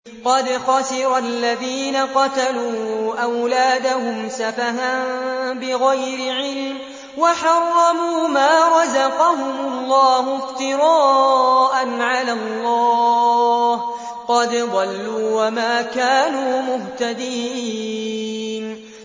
قَدْ خَسِرَ الَّذِينَ قَتَلُوا أَوْلَادَهُمْ سَفَهًا بِغَيْرِ عِلْمٍ وَحَرَّمُوا مَا رَزَقَهُمُ اللَّهُ افْتِرَاءً عَلَى اللَّهِ ۚ قَدْ ضَلُّوا وَمَا كَانُوا مُهْتَدِينَ